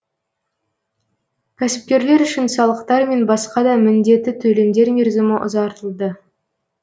кәсіпкерлер үшін салықтар мен басқа да міндеті төлемдер мерзімі ұзартылды